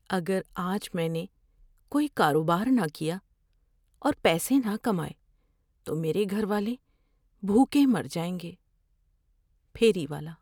اگر آج میں نے کوئی کاروبار نہ کیا اور پیسے نہ کمائے تو میرے گھر والے بھوکے مر جائیں گے۔ (پھیری والا)